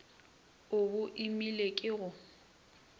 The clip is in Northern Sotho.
o bo imele ke go